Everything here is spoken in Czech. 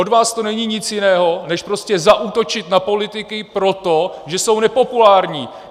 Od vás to není nic jiného než prostě zaútočit na politiky proto, že jsou nepopulární.